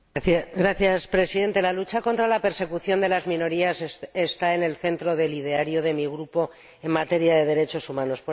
Señor Presidente, la lucha contra la persecución de las minorías está en el centro del ideario de mi Grupo en materia de derechos humanos.